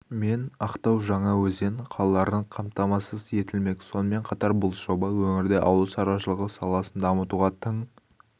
мен ақтау жаңаөзен қалаларын қамтамасыз етілмек сонымен қатар бұл жоба өңірде ауылшаруашылығы саласын дамытуға тың